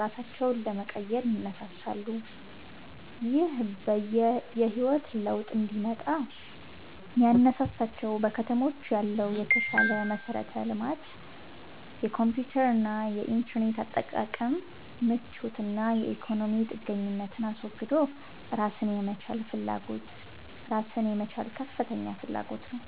ራሳቸውን ለመቀየር ይነሳሳሉ። ይህ የህይወት ለውጥ እንዲመጣ ያነሳሳቸው በከተሞች ያለው የተሻለ መሠረተ ልማት፣ የኮምፒውተርና የኢንተርኔት አጠቃቀም ምቾት እና የኢኮኖሚ ጥገኝነትን አስወግዶ ራስን የመቻል ከፍተኛ ፍላጎት ነው